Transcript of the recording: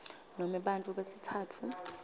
nome bantfu besitsatfu